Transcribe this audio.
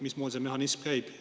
Mismoodi see mehhanism käib?